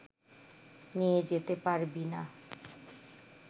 নিয়ে যেতে পারবি না